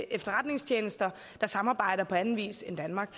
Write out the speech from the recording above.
efterretningstjenester der samarbejder på anden vis end i danmark